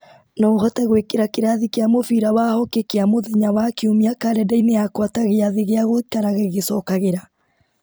no ũhote gwĩkĩra kĩrathi kĩa mũbira wa hokĩ kĩa mũthenya wa kiumia karenda-inĩ yakwa ta gĩathĩ gĩa gũikaraga gĩgĩcokagĩra